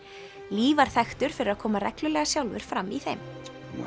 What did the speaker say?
lee var þekktur fyrir að koma reglulega sjálfur fram í þeim